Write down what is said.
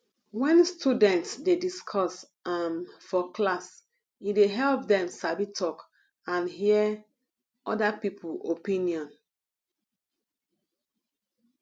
when students dey discuss um for class e dey help dem sabi talk and hear other people opinion